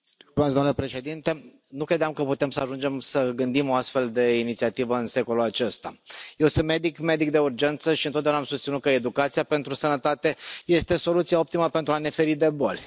Domnule președinte, nu credeam că putem să ajungem să gândim o astfel de inițiativă în secolul acesta. Eu sunt medic de urgență și întotdeauna am susținut că educația pentru sănătate este soluția optimă pentru a ne feri de boli.